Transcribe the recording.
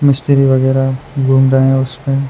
मिस्त्री वगैरह घूम रहा है उस पे ।